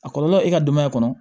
A kɔlɔlɔ e ka denbaya kɔnɔ